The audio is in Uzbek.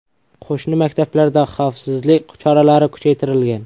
Qo‘shni maktablarda xavfsizlik choralari kuchaytirilgan.